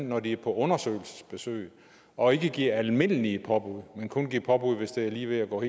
når de er på undersøgelsesbesøg og ikke give almindelige påbud men kun give påbud hvis det er lige ved at gå